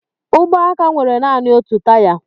Ụgbọaka nwere nanị otu taya.